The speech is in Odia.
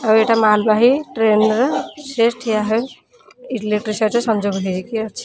ଆଉ ଏଇଟା ମାଲ୍ ବାହୀ ଟ୍ରେନ୍ ର ସେ ଠିଆ ହୋଇ ଇଲେକ୍ଟ୍ରି ସହ ସଂଯୋଗ ହେଇକି ଅଛି।